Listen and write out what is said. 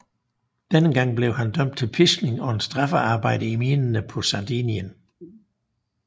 Denne gang blev han dømt til piskning og straffearbejde i minerne på Sardinien